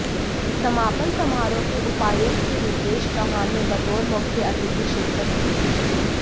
समापन समारोह के उपायुक्त रितेश चौहान ने बतौर मुख्य अतिथि शिरकत की